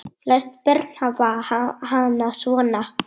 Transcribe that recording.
Flest börn hafa hana svona